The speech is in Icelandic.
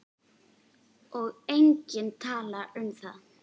Og enginn talar um það!